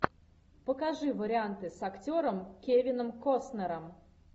покажи варианты с актером кевином костнером